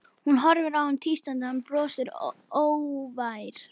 Hún horfir á hann tístandi, hann brosir, hógvær.